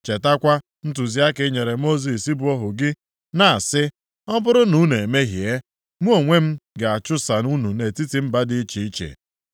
“Chetakwa ntụziaka inyere Mosis bụ ohu gị, na-asị, ‘Ọ bụrụ na unu emehie, mụ onwe m ga-achụsa unu nʼetiti mba dị iche iche.